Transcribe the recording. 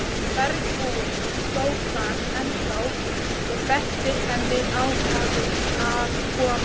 Bergbúinn stóð þar ennþá og benti henni ákafur að koma.